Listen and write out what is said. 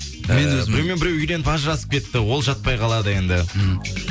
ііі біреумен біреу үйленіп ажырасып кетті ол жатпай қалады енді мхм